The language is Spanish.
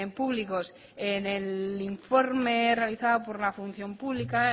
públicos en el informe realizado por la función pública